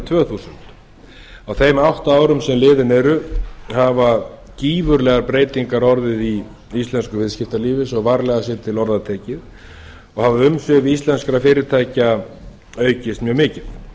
tvö þúsund á þeim átta árum sem liðin eru hafa gífurlegar breytingar orðið í íslensku viðskiptalífi svo varlega sé til orða tekið og hafa umsvif íslenskra fyrirtækja aukist mjög mikið